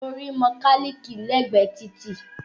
Mo rí mọkálíìkì l'ẹ́gbẹ̀ẹ́ títì